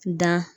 Da